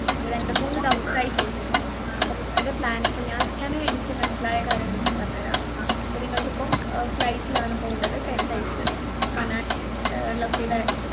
രണ്ടുമൂന്നു ദിവസമായി ചോദിക്കുന്നു അപ്പൊ നിങ്ങളുടെ plan ഇപ്പൊ ഞാൻ ഞാനിപ്പോ എനിക്ക് മനസ്സിലായ കാര്യങ്ങളൊക്കെ പറഞ്ഞു തരാം അപ്പോ നിങ്ങൾക്കിപ്പോൾ flight ൽ ആണ് പോകേണ്ടത് ten days ൽ, മണാലി ഏർ